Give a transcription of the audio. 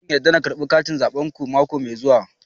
Eh zan yarda da karbar katin zabenku mako mai zuwa